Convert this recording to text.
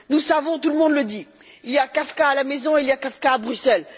Nous savons, tout le monde le dit Il y a Kafka à la maison, il y a Kafka à Bruxelles.